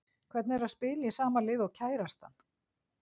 Hvernig er það að spila í sama liði og kærastan?